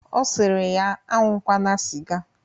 Ọ sịrị ya aṅụkwana sịga